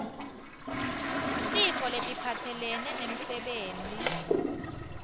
tifo letiphatselene nemsebenti